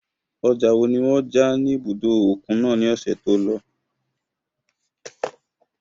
Ọjà wo ni wọ́n ja ní ibùdó òkun náà ní ọ̀sẹ̀ tí ó lọ?